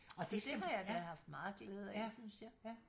Så det har jeg da haft meget glæde af synes jeg